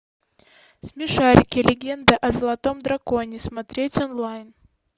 смешарики легенда о золотом драконе смотреть онлайн